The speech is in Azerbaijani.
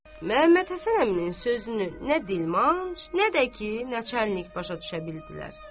Məhəmmədhəsən əminin sözünü nə dilmanc, nə də ki, neçə enlik başa düşə bildilər.